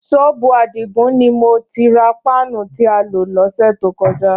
Ṣọ́ọ̀bù Àdìgún ni mo ti ra páànù tí a lò lọ́sẹ̀ tó kọjá